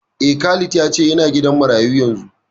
Eh, Khalifa ya ce yana gidan marayu yanzu